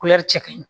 cɛ kaɲi